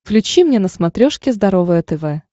включи мне на смотрешке здоровое тв